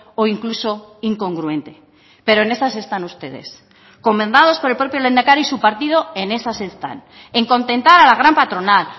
o incluso incongruente pero en esas están ustedes comendados por el propio lehendakari su partido en esas están en contentar a la gran patronal